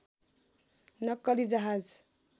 नक्कली जहाज